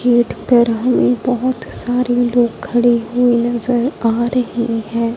Gate पे रहली बहोत सारे लोग खड़ी हुई नजर आ रही है।